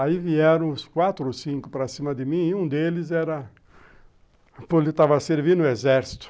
Aí vieram os quatro ou cinco para cima de mim e um deles era... ele estava servindo o exército.